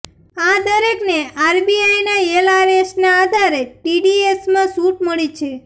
આ દરેકને આરબીઆઈના એલઆરએસના આધારે ટીડીએસમાં છૂટ મળી છે